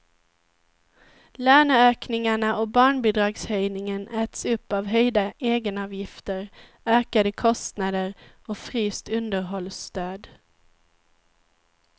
Löneökningarna och barnbidragshöjningen äts upp av höjda egenavgifter, ökade kostnader och fryst underhållsstöd.